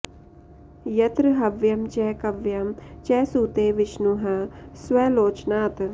यत्र हव्यं च कव्यं च सूते विष्णुः स्वलोचनात्